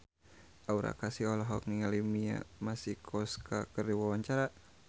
Aura Kasih olohok ningali Mia Masikowska keur diwawancara